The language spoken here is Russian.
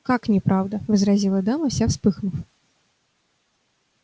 как неправда возразила дама вся вспыхнув